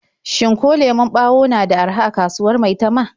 Shin ko lemon ɓawo na da araha a kasuwar Maitama?